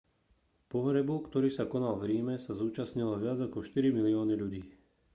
pohrebu ktorý sa konal v ríme sa zúčastnilo viac ako štyri milióny ľudí